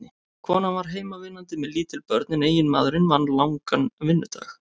Konan var heimavinnandi með lítil börn en eiginmaðurinn vann langan vinnudag.